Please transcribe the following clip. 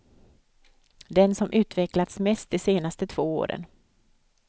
Den som utvecklats mest de senaste två åren.